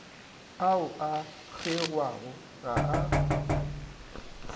ao a kgewago ga a